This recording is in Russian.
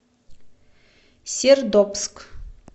сердобск